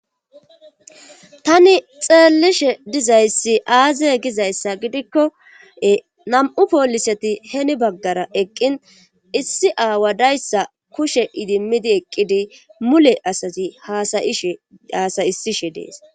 tani xeellishe dizayssi aazey gizayssa gidikko nam7u pooliseti heeni baggara eqqin issi aawa dayssa kushe idimmidi eqqidi mule asatizi hasayisishe dees